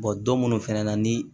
don minnu fɛnɛ na ni